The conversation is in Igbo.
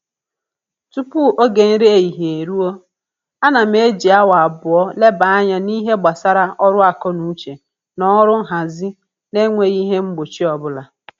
Tupu oge nri ehihie eruo, ana m eji awa abụọ leba anya n'ihe gbasara ọrụ akọnuche na ọrụ nhazi na-enweghị ihe mgbochi ọbụla